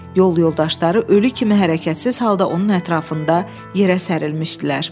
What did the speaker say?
Yol yoldaşları ölü kimi hərəkətsiz halda onun ətrafında yerə sərilmişdilər.